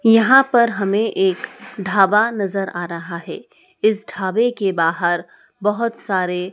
यहां पर हमें एक ढाबा नजर आ रहा है इस ढाबे के बाहर बहोत सारे--